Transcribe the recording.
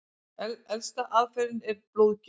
Elsta aðferðin er blóðgjöf.